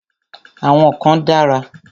Àwọn kan dára.